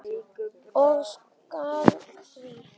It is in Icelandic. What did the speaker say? Ég skila því.